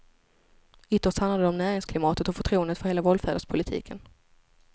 Ytterst handlar det om näringsklimatet och förtroendet för hela valfärdspolitiken.